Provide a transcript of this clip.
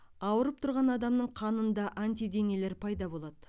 ауырып тұрған адамның қанында антиденелер пайда болады